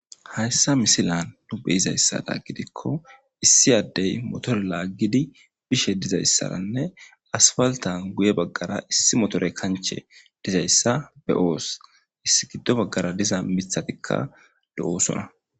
Hayssa misilan du be izayssa daaggidikko issi addey motore laaggidi bishe dizayssaranne asfaltan guye baggara issi motore kanche dizayssa be oos issi giddo baggara diza mithatikka do'oosona.